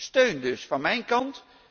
Steun dus van mijn kant.